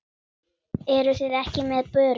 Eruð þið ekki með börur?